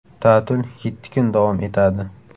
Ta’til yetti kun davom etadi.